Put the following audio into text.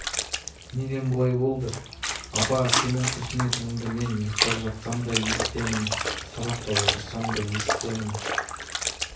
неден бұлай болды апа сенің күрсінетініңді мен ұйықтап жатсам да есітемін сабақта отырсам да есітемін